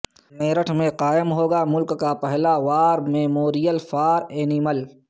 میرٹھ میں قائم ہوگا ملک کا پہلا وار میموریل فار اینیمل